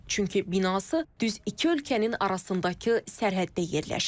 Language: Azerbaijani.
Çünki binası düz iki ölkənin arasındakı sərhəddə yerləşir.